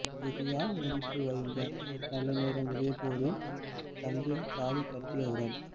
கெதியா முடித்து வைங்க நல்ல நேரம் முடியப்போதில்லை தம்பி தாலி கட்டியவுடன்